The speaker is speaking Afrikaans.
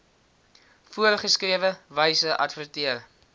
voorgeskrewe wyse adverteer